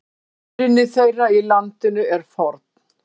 Uppruni þeirra í landinu er forn.